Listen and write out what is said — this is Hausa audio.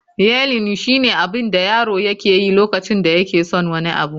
yeiling shine abin da yaro yake yi lokacin da yake son wani abu